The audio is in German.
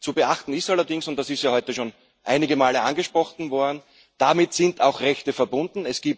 Zu beachten ist allerdings und das ist ja heute schon einige Male angesprochen worden Damit sind auch Rechte verbunden.